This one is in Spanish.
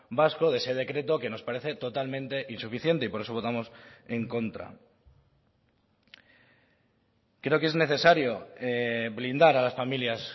vasco de ese decreto que nos parece totalmente insuficiente y por eso votamos en contra creo que es necesario blindar a las familias